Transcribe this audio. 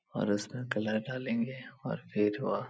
और उसमें कलर डालेंगे और फिर वह --